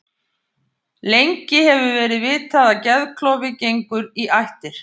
Lengi hefur verið vitað að geðklofi gengur í ættir.